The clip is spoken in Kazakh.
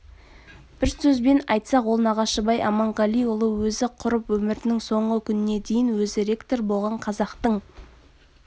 бір сөзбен айтсақ ол нағашыбай аманғалиұлы өзі құрып өмірінің соңғы күніне дейін өзі ректор болған қазақтың